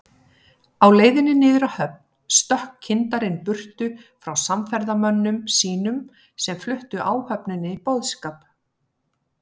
Á leiðinni niður að höfn stökk kyndarinn burtu frá samferðamönnum sínum, sem fluttu áhöfninni boðskap